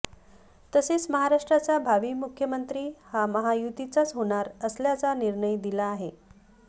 तसेच महाराष्ट्राचा भावी मुख्यमंत्री हा महायुतीचाच होणार असल्याचा निर्णय दिला आहे